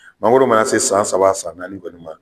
Mangoro mana se san saba san naani kɔni ma